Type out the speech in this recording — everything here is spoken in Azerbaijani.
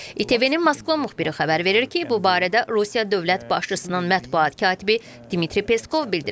ITV-nin Moskva müxbiri xəbər verir ki, bu barədə Rusiya dövlət başçısının mətbuat katibi Dmitri Peskov bildirib.